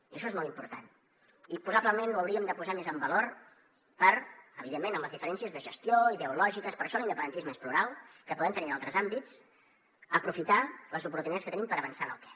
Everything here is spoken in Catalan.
i això és molt important i probablement ho hauríem de posar més en valor per evidentment amb les diferències de gestió i ideològiques per això l’independentisme és plural que podem tenir en altres àmbits aprofitar les oportunitats que tenim per avançar en el què